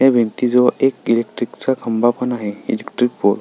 या भिंती जवळ एक इलेक्ट्रिक चा खंबा पण आहे इलेक्ट्रिक पोल .